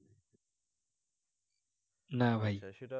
না ভাই